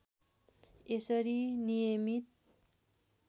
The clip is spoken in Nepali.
यसरी नियमित